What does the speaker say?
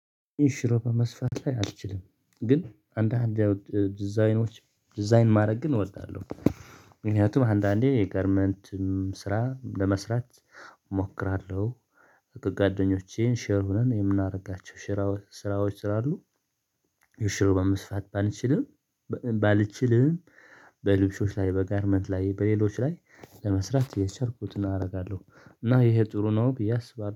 ኢንሽሮፕ መስፋት ላይ አልችልም ግን አንዳንዴ ዲዛይኖች ዲዛይን ማድረግ ግን እወዳለሁ። ምክንያቱም አንዳንዴ የጋርመንትም ስራ ለመስራት እሞክራለሁ። ከ ጓደኞቼ ሼር ሆነን የምናደርጋቸው ሼር ስራዎች ስላሉ። ሽሩባ መስፋት ባንችልም ባልችልም በልብሶች ላይ በጋርመንት ላይ በሌሎች ላይ ለመስራት የቻልኩትን አደርጋለሁ። እና ይሄ ጥሩ ነው ቢዬ አስባለሁ